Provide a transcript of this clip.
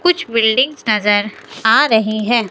कुछ बिल्डिंग्स नगर आ रहे हैं।